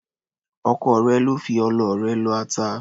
Ọkọ rẹ ló ń fi ọlọ rẹ lọ ata.